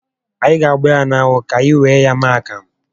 Any ga agba ha n'anwụ ka anyị were ya mee akamụ